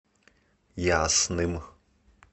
ясным